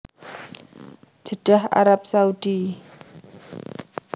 Jeddah Arab Saudi